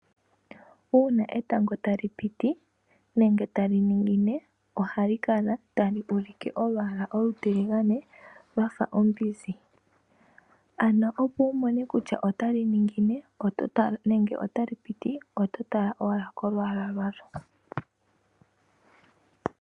Una etango tali piti nenge tali ningine ohali kala tali ulike oolwaala olutiligane lwafa ombinzi. Ano opo wu mone kutya otali ningine nenge otali piti, oto tala owala kolwaala lwalyo.